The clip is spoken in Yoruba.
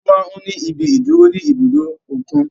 A tún máa ń ní ibi ìdúró ní ibùdó òkun.